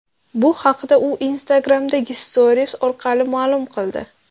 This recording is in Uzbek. Bu haqda u Instagram’dagi Stories orqali ma’lum qildi.